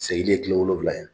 Sginin ye tile wolowula ye.